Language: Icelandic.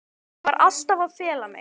Ég var alltaf að fela mig.